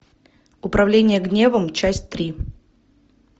управление гневом часть три